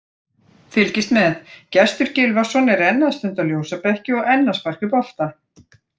Fylgist með: Gestur Gylfason er enn að stunda ljósabekki og enn að sparka í bolta.